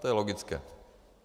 To je logické.